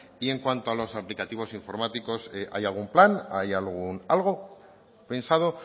y en cuanto a los aplicativos informáticos hay algún plan hay algún algo pensado